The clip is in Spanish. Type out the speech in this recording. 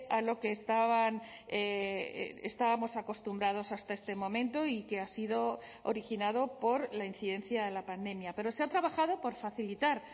a lo que estaban estábamos acostumbrados hasta este momento y que ha sido originado por la incidencia de la pandemia pero se ha trabajado por facilitar